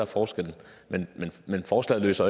forskellen men forslaget løser